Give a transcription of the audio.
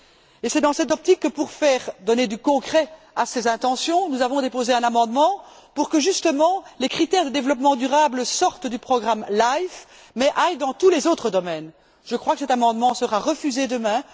Et c'est dans cette optique que pour donner du concret à ces intentions, nous avons déposé un amendement afin que, justement, les critères de développement durable sortent du programme LIFE mais aillent dans tous les autres domaines. Je crois que cet amendement sera refusé demain.